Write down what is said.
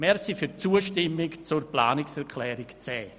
Danke für die Zustimmung zur Planungserklärung 10.